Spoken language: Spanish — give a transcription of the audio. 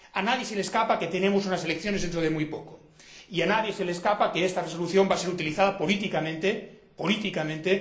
A nadie se le escapa que tenemos unas elecciones dentro de muy poco. Y a nadie se le escapa que esta resolución va a ser utilizada políticamente, ¡políticamente!,